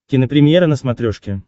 кинопремьера на смотрешке